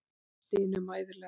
Hún stynur mæðulega.